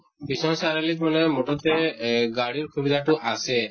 বিশ্বনাথ চাৰিআলিত মানে মুঠতে এহ গাড়ী্ৰ সুবিধাতো আছে